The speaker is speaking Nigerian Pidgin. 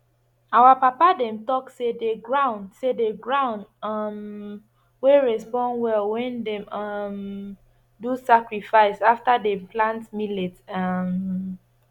our papa dem talk say the ground say the ground um wey respond well when dem um do sacrifice after dem plant millet um